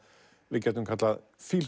við gætum kallað